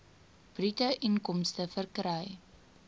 bruto inkomste verkry